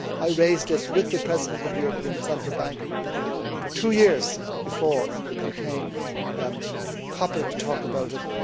I was raising this with the President of the European Central Bank for two years before it became popular to talk about it.